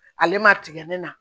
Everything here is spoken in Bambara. Ale ma tigɛ ne na